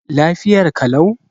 Lafiyar ka lau?